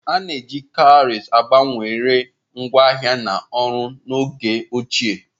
A na-eji cowries gbanwere ngwaahịa na ọrụ n'oge ochie.